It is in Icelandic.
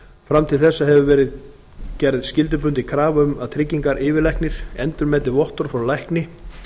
fram til þessa hefur verið gerð skyldubundin krafa um að tryggingayfirlæknir endurmeti vottorð frá lækni